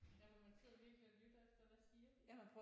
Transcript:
Ja hvor man sidder virkelig og lytter efter hvad siger de?